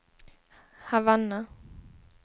Havanna